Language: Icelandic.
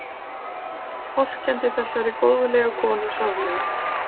Vorkenndi þessari góðlegu konu sárlega.